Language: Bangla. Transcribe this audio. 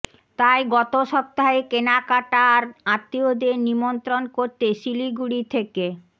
তাই গত সপ্তাহে কেনাকেটা আর আত্মীয়দের নিমন্ত্রণ করতে শিলিগুড়ি থেকে